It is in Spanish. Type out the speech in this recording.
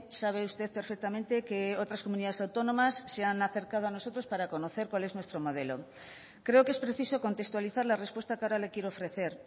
sabe usted perfectamente que otras comunidades autónomas se han acercado a nosotros cuál es nuestro modelo creo que es preciso contextualizar la respuesta que ahora le quiero ofrecer